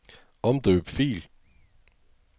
Omdøb fil.